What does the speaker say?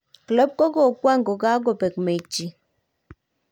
Klopp kokokwang kokokapek mechit